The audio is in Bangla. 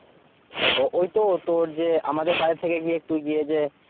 ওই তো তোর যে আমাদের বাড়ি থেকে গিয়ে তুই গিয়ে যে